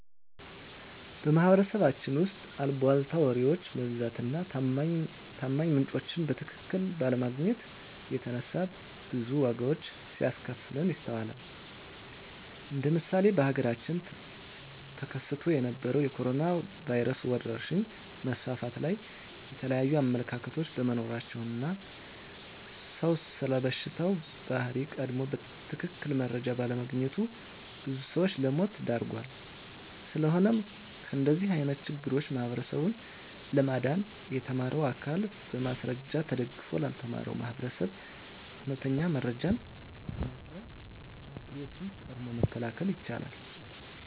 በማህበረሰባችን ውስጥ አልቧልታ ወሬዎች መብዛት እና ታማኝ ምንጮችን በትክክል ባለማግኘት የተነሳ ብዙ ዋጋዎች ሲያስከፍለን ይስተዋላል እንደ ምሳሌ በሀገራችን ተከስቶ በነበረዉ የኮሮኖ ቫይረስ ወረርሽኝ መስፋፋት ላይ የተለያዩ አመለካከቶች በመኖራቸው እና ሰዉ ስለበሽታው ባህሪ ቀድሞ በትክክል መረጃ ባለማግኘቱ ብዙ ሰዎችን ለሞት ዳርጓል። ስለሆነም ከእንደዚህ አይነት ችግሮች ህብረተሰቡን ለማዳን የተማረው አካል በማስረጃ ተደግፎ ላልተማረው ማህበረሰብ እውነተኛ መረጃዎችን በማቅረብ ችግሮችን ቀድሞ መከላከል ይቻላል።